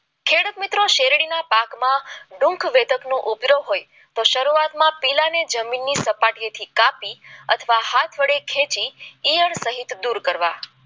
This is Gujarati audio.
પાકમાં વેદક નો ઉપરો હોય તો શરૂઆતમાં જમીનની સપાટીએ ની કાપી હાથ વડે ખેત ખેતી દૂર કરવી